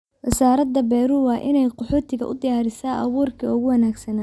Wasaaradda beeruhu waa in ay qaxootiga u diyaarisaa abuurkii ugu wanaagsanaa.